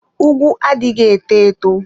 Ùgwù adịghị eto eto.